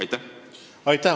Aitäh!